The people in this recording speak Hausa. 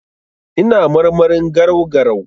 Ina marmarin garau-garau.